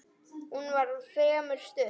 Hún var fremur stutt.